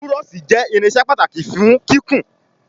Búrọ́ọ̀ṣì jé irinṣẹ́ pàtàkì fún kíkún.